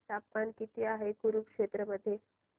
तापमान किती आहे कुरुक्षेत्र मध्ये